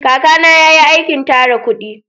Kaka na ya yi aikin tara kudi